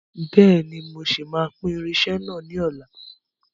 Bẹ́ẹ̀ni, mo ṣì máa pín irinsẹ́ náà ni ọ̀la.